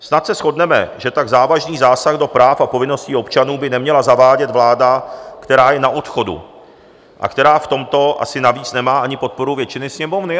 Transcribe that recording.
Snad se shodneme, že tak závažný zásah do práv a povinností občanů by neměla zavádět vláda, která je na odchodu a která v tomto asi navíc nemá ani podporu většiny Sněmovny.